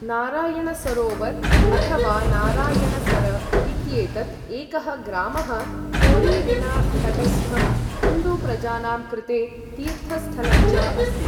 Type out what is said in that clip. नारायणसरोवर अथ वा नारायणसर इत्येतत् एकः ग्रामः कोरीरिणतटस्ठं हिन्दु प्रजानां कृते तीर्थस्थलं च अस्ति।